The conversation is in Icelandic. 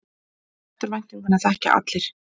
Eftirvæntinguna þekkja allir.